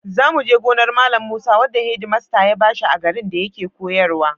Za mu je gonar Malam Musa wadda hedimasta ya ba shi a garin da yake koyarwa.